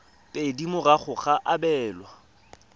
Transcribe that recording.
pedi morago ga go abelwa